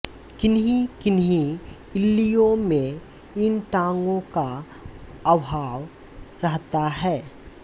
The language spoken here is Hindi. किन्हीं किन्हीं इल्लियों में इन टाँगों का अभाव रहता है